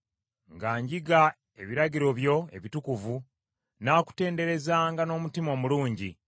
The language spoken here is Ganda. Nga njiga ebiragiro byo ebitukuvu, nnaakutenderezanga n’omutima omulungi.